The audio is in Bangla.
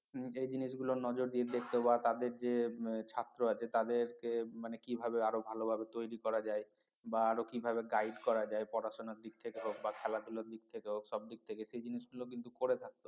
এই জিনিসগুলো নজর দিয়ে দেখতে বা তাদের যে ছাত্র আছে তাদেরকে মানে কিভাবে আরো ভালোভাবে তৈরি করা যায় বা আরো কিভাবে guide করা যায় পড়াশোনার দিক থেকে হোক বা খেলা ধুলার দিক থেকে হোক সবদিক থেকে সেই জিনিস গুলো কিন্তু করে থাকতো